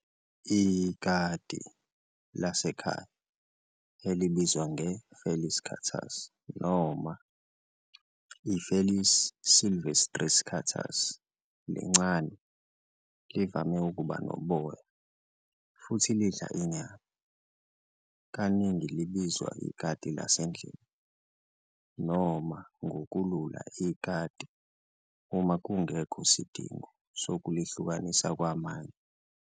Ikati lasekhaya, elibizwa nge-Felis catus noma i-Felis silvestris catus, lincane, livame ukuba noboya, futhi lidla inyama. Kaningi libizwa ikati lasendlini, noma ngokulula ikati, uma ngungekho sidingo sokulihlukanisa kwamanye.